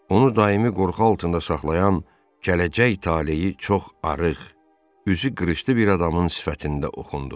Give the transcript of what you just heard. Onu daimi qorxu altında saxlayan gələcək taleyi çox arıq, üzü qırışdı bir adamın sifətində oxundu.